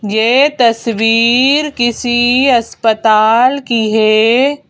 यह तस्वीर किसी अस्पताल की है।